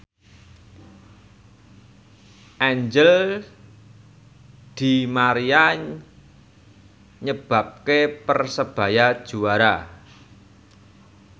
Angel di Maria nyebabke Persebaya juara